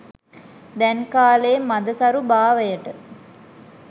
දැන් කාලෙ මද සරු භාවයට